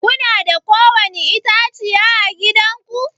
Kuna da ko wani itãciya à gidan ku?